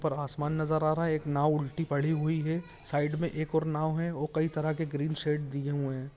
ऊपर आसमान नजर आ रहा हैएक नाव उलटी पड़ी हुई है साइड में एक और नाव है और कई तरह के ग्रीन शेड दिए है।